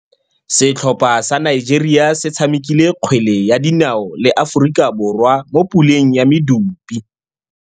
Setlhopha sa Nigeria se tshamekile kgwele ya dinaô le Aforika Borwa mo puleng ya medupe.